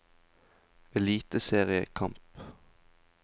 eliteseriekamp